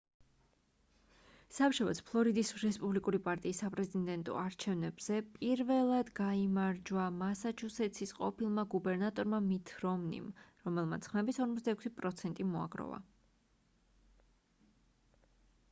სამშაბათს ფლორიდის რესპუბლიკური პარტიის საპრეზუდენტო არჩევნებზე პირველად გაიმარჯვა მასაჩუსეტსის ყოფილმა გუბერნატორმა მიტ რომნიმ რომელმაც ხმების 46% მოაგროვა